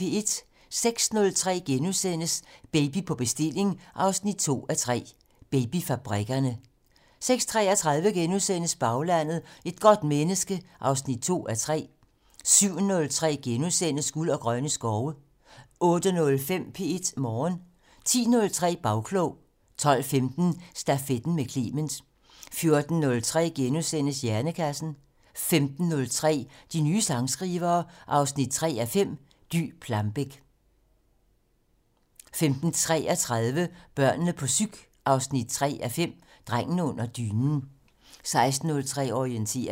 06:03: Baby på bestilling 2:3: Babyfabrikkerne * 06:33: Baglandet: Et godt menneske 2:3 * 07:03: Guld og grønne skove * 08:05: P1 Morgen 10:03: Bagklog 12:15: Stafetten med Clement 14:03: Hjernekassen * 15:03: De nye sangskrivere 3:5 - Dy Plambeck 15:33: Børnene på psyk 3:5 - Drengen under dynen 16:03: Orientering